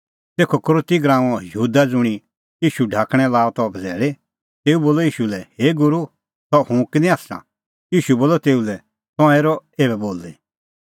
तेखअ यहूदा इसकरोती ज़ुंणी ईशू ढाकणैं लाअ त बझ़ैल़ी तेऊ बोलअ ईशू लै हे गूरू सह हुंह किनी आसा ईशू बोलअ तेऊ लै तंऐं हेरअ एभै बोली